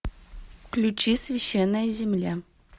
включи священная земля